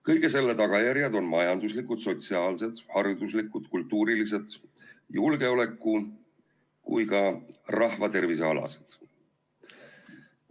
Kõige selle tagajärjed on nii majanduslikud, sotsiaalsed, hariduslikud, kultuurilised, julgeoleku- kui ka rahvatervisealased.